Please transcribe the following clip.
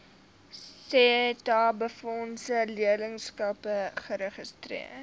setabefondse leerlingskappe geregistreer